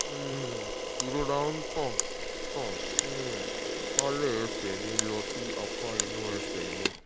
um ìrora ń tàn tàn um kálẹ̀ ẹ̀sẹ̀ mi lọ sí apá inú ẹ̀sẹ̀ mi